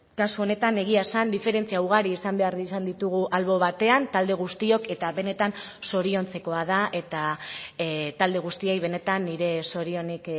kasu honetan egia esan diferentzia ugari izan behar izan ditugu albo batean talde guztiok eta benetan zoriontzekoa da eta talde guztiei benetan nire zorionik